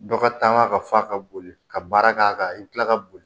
Dɔ ka taama ka fa ka boli ka baara k'a kan i bɛ kila ka boli